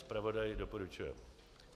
Zpravodaj doporučuje.